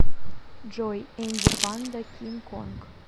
джой энди панда кинг конг